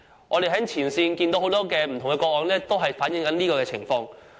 我們在前線接獲的很多個案都反映了這種情況。